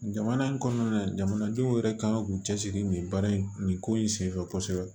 Jamana in kɔnɔna na jamanadenw yɛrɛ kan k'u cɛsiri nin baara in nin ko in senfɛ kosɛbɛ